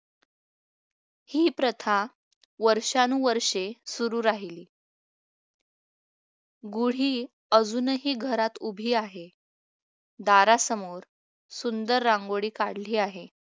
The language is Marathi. ही प्रथा वर्षानुवर्षे सुरू राहिली गुढी अजूनही घरात उभी आहे दारासमोर सुंदर रांगोळी काढली आहे